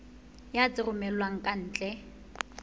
ya tse romellwang ka ntle